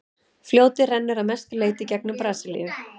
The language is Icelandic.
fljótið rennur að mestu leyti í gegnum brasilíu